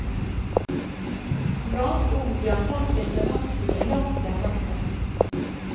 Som ganske ung ble han sendt på internatskole langt hjemmefra.